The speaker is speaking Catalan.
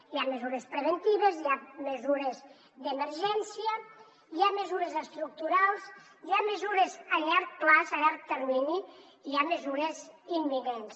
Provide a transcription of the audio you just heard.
hi ha mesures preventives hi ha mesures d’emergència hi ha mesures estructurals hi ha mesures a llarg termini i hi ha mesures imminents